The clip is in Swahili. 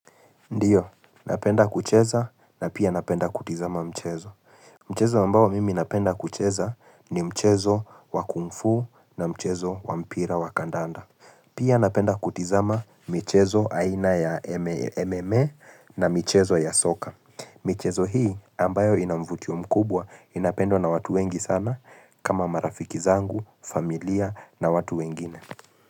Ndiyo, napenda kucheza na pia napenda kutizama mchezo. Mchezo ambao mimi napenda kucheza ni mchezo wa kungfu na mchezo wa mpira wa kandanda. Pia napenda kutizama mchezo aina ya MMA na mchezo ya soka. Mchezo hii ambayo inamvutio mkubwa inapendwa na watu wengi sana kama marafiki zangu, familia na watu wengine.